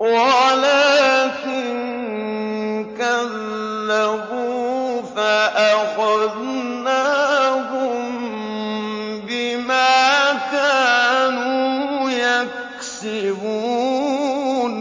وَلَٰكِن كَذَّبُوا فَأَخَذْنَاهُم بِمَا كَانُوا يَكْسِبُونَ